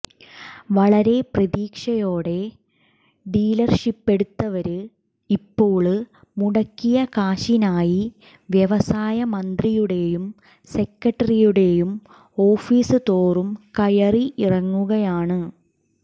വളരെ പ്രതീക്ഷയോടെ ഡീലര്ഷിപ്പെടുത്തവര് ഇപ്പോള് മുടക്കിയ കാശിനായി വ്യവസായ മന്ത്രിയുടേയും സെക്രട്ടറിയുടേയും ഓഫിസ് തോറും കയറി ഇറങ്ങുകയാണ്